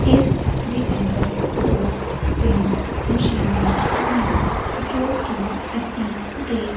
ਇਸ ਦੇ ਅੰਦਰ ਦੋ ਤਿੰਨ ਮਸ਼ੀਨਾਂ ਹਨ ਜੋ ਕਿ ਅਸੀਂ ਦੇ--